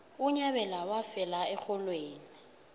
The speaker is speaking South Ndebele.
unyabela wafela erholweni